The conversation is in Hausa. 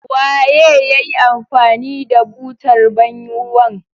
Waye ya yi amfani da butar ban ruwan.